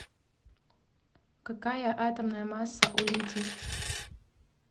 какая атомная масса у литий